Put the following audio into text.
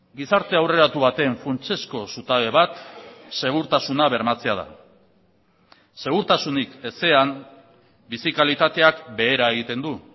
gizarte aurreratu baten funtsezko zutabe bat segurtasuna bermatzea da segurtasunik ezean bizi kalitateak behera egiten du